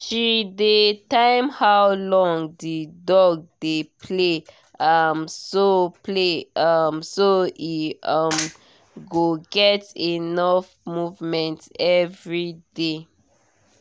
she dey time how long the dog dey play um so play um so e um go get enough movement every day